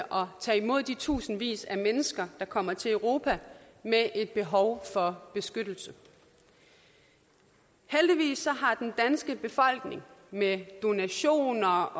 tage imod de tusindvis af mennesker der kommer til europa med et behov for beskyttelse heldigvis har den danske befolkning med donationer